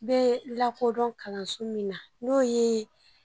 N bɛ lakodɔn kalanso min na n'o ye